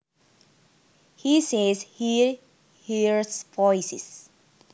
He says he hears voices